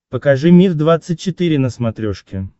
покажи мир двадцать четыре на смотрешке